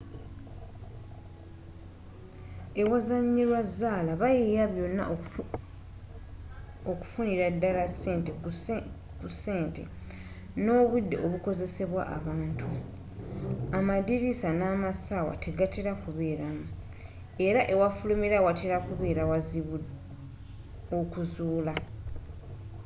ewazanyirwa zaala bayiiya byonna okufunira ddala ku ssente nobudde obukozesebwa abantu amadiriisa namassaawa tegatera kubeeramu era ewafulumirwa watera kubeera wazibu okuzuulwa